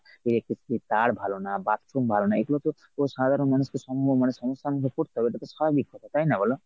electricity তার ভালো না bathroom ভালো না এগুলো তো সাধারন মানুষ সম্ম মানে সমস্যার মধ্যে পরতে হবে। এটা তো স্বাভাবিক ব্যপার, তাই না বল ?